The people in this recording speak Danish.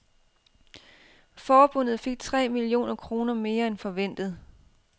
Forbundet fik tre millioner kroner mere end forventet.